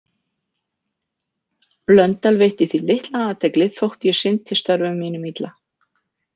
Blöndal veitti því litla athygli þótt ég sinnti störfum mínum illa.